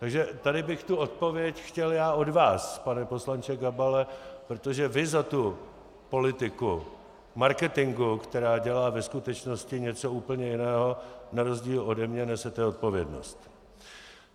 Takže tady bych tu odpověď chtěl já od vás, pane poslanče Gabale, protože vy za tu politiku marketingovou, která dělá ve skutečnosti něco úplně jiného, na rozdíl ode mne nesete odpovědnost.